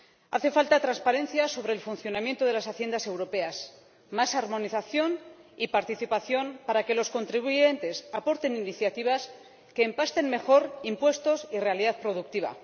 Hace falta transparencia sobre el funcionamiento de las Haciendas europeas, más armonización y participación para que los contribuyentes aporten iniciativas que empasten mejor impuestos y realidad productiva.